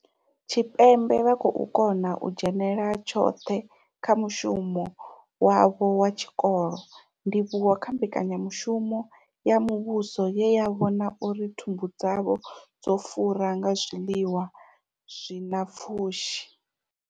Tshipembe vha khou kona u dzhenela tshoṱhe kha mushumo wavho wa tshikolo, ndivhuwo kha mbekanyamushumo ya muvhuso ye ya vhona uri thumbu dzavho dzo fura nga zwiḽiwa zwi na pfushi.